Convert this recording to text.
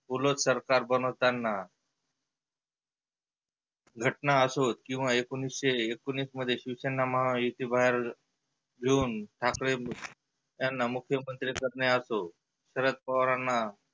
पुर्व सरकार बनवताना घटना असो किंवा एकोनिसशे एकोनिस मध्ये त्यांना महा युती बाहेर येऊन ठाकरे यांना मुख्यमंत्री करणे असो शरद पवारांना.